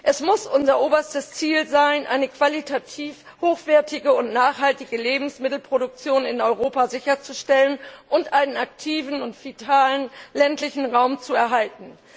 Es muss unser oberstes Ziel sein, eine qualitativ hochwertige und nachhaltige Lebensmittelproduktion in Europa sicherzustellen und einen aktiven und vitalen ländlichen Raum zu erhalten.